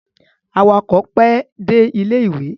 Awakọ̀ pẹ́ dé ilé-ìwé.